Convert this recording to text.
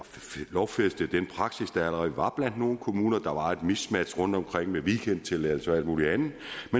lovfæstede den praksis der allerede var blandt nogle kommuner der var et miskmask rundtomkring med weekendtilladelser og alt muligt andet